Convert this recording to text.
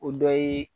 O dɔ ye